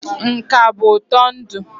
Nka bụ ụtọ ndụ.